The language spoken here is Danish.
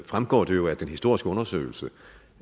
fremgår det jo af den historiske undersøgelse